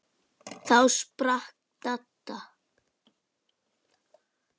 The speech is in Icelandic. Þá sprakk Dadda.